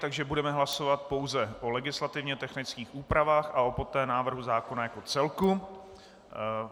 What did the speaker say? Takže budeme hlasovat pouze o legislativně technických úpravách a poté o návrhu zákona jako celku.